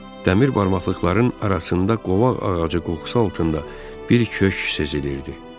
Dəmir barmaqlıqların arasında qovaq ağacı qoxusu altında bir köşk sezilirdi.